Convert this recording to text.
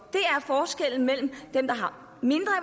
er forskellen mellem dem der